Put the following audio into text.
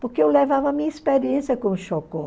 Porque eu levava a minha experiência com o Chocó